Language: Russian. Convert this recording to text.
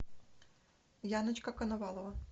яночка коновалова